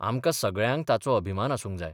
आमकां सगळ्यांक ताचो अभिमान आसूंक जाय.